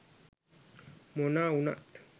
මොනව වුණත්